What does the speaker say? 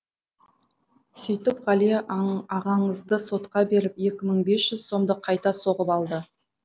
сөйтіп ғалия ағаңызды сотқа беріп екі мың бес жүз сомды қайта соғып алды